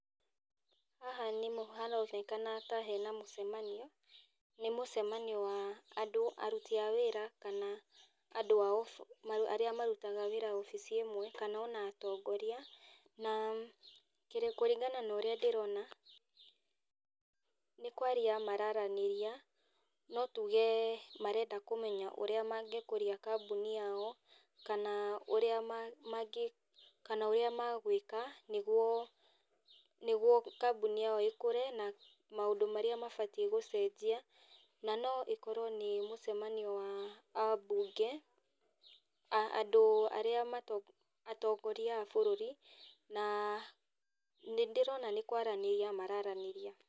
Haha haronekana ta hena mũcemanio, nĩmũcemanio wa andũ aruti a wĩra, kana andũ arĩa marutaga wĩra wabici ĩmwe, kana ona atongoria, na kĩ kũringana na ũrĩa ndĩrona, nĩkwaria mararanĩria, no tuge marenda kũmenya ũrĩa mangĩkũria kambuni yao, kana ũrĩa ma mangĩ kana ũrĩa magwĩka, nĩguo nĩguo kambuni yao ĩkũre na maũndũ marĩa mabatiĩ gũcenjia, na no ĩkorwo nĩ mũcemanio wa abunge, a andũ arĩa mato atongoria a bũrũri, na nĩndĩrona nĩkwaranĩria mararanĩria.